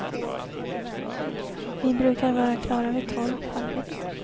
Vi brukar vara klara vid tolv, halv ett.